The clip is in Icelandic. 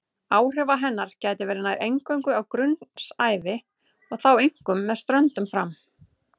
Áhrifa hennar gætir nær eingöngu á grunnsævi og þá einkum með ströndum fram.